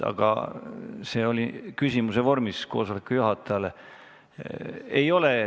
Protseduuriline küsimus esitati istungi juhatajale.